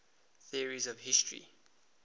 theories of history